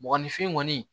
Mɔgɔninfin kɔni